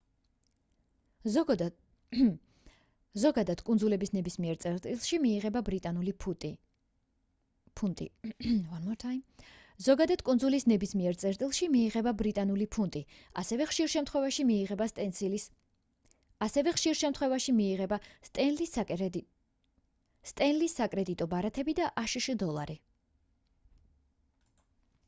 ზოგადად კუნძულების ნებისმიერ წერტილში მიიღება ბრიტანული ფუნტი ასევე ხშირ შემთხვეებში მიიღება სტენლის საკრედიტო ბარათები და აშშ დოლარი